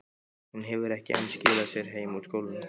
Hún hefur ekki enn skilað sér heim úr skólanum.